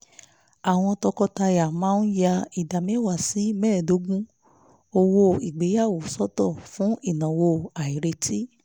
àwọn tọkọtaya máa ń ya ìdá mẹ́wàá sí mẹ́ẹ̀ẹ́dógún owó ìgbéyàwó sọ́tọ̀ fún ìnáwó àìretí